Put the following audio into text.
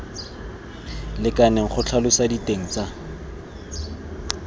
lekaneng go tlhalosa diteng tsa